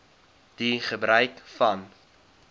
die gebruik van